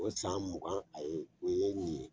O san mugan a ye o ye nin ye